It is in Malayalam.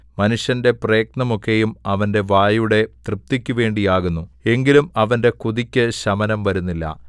മനുഷ്യന്റെ പ്രയത്നമൊക്കെയും അവന്റെ വായുടെ തൃപ്തിക്കുവേണ്ടിയാകുന്നു എങ്കിലും അവന്റെ കൊതിക്കു ശമനം വരുന്നില്ല